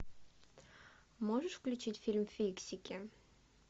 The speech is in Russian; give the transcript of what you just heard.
можешь включить фильм фиксики